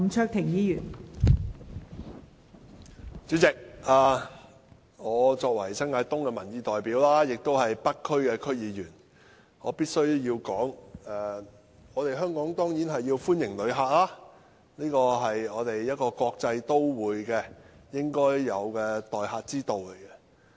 代理主席，我作為新界東的民意代表，亦是北區區議員，我必須說，香港當然歡迎旅客，這是作為國際都會應有的待客之道。